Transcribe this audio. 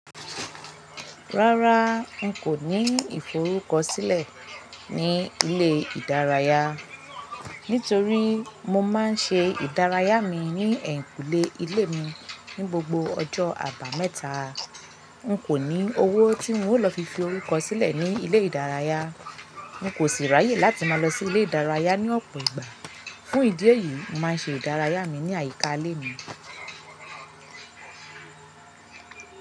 Rárá n kò ní ìforúkọ̀sílẹ̀ ní ilẹ̀-ìdáràyà, nítorí mọ má n ṣè ìdáràyà mi ní ẹnkúlẹ̀ ilẹ̀ mi ní gbogbo ọ̀jọ̀ Àbámẹ̀ta. N kò ní owó tí mọ o lọ fi fi forúkọ̀sílẹ̀ ní ilẹ̀-ìdáràyà. N kò ṣi ráyè láti má lọ sí ilẹ̀-ìdáràyà ní ọ̀pọ̀ ìgbà. Fún ìdí èyí, mọ má n ṣè ìdáràyà mi ní ayíká ilẹ̀ mi.